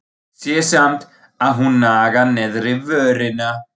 Sé samt að hún nagar neðri vörina.